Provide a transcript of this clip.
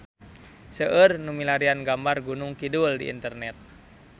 Seueur nu milarian gambar Gunung Kidul di internet